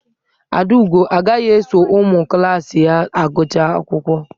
Adaugo agaghị eso ụmụ klaasị ya gụchaa akwụkwọ.